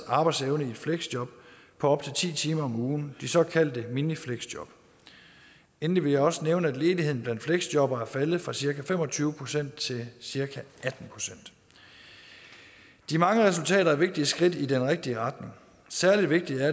arbejdsevne i fleksjob på op til ti timer om ugen de såkaldte minifleksjob endelig vil jeg også nævne at ledigheden blandt fleksjobbere er faldet fra cirka fem og tyve procent til cirka atten procent de mange resultater er vigtige skridt i den rigtige retning særlig vigtigt er